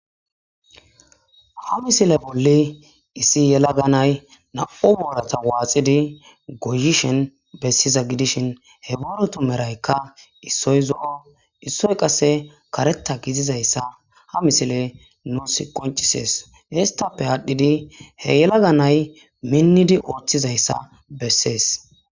Ha misile bolla issi gelaga na'ay nam'u boorata waaxidi goyishn besiza gidishn he booratu merayka issoy zo'o, issoy karetha gidizaysa ha misiley nuusi qoncises, hesappe adhidi ha yelaga mayi minidi oothizaysa beses.